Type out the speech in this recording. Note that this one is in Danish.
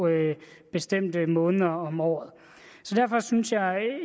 bestemte måneder om året derfor synes jeg